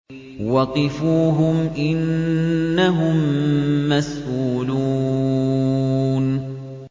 وَقِفُوهُمْ ۖ إِنَّهُم مَّسْئُولُونَ